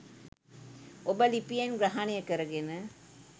ඔබ ලිපියෙන් ග්‍රහනය කරගෙන